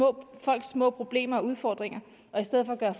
om folks små problemer og udfordringer og i stedet for gøre